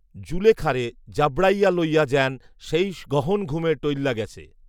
জুলেখারে জাবড়াইয়া লইয়া য্যান সেয় গহন ঘুমে ঢইল্লা গেছে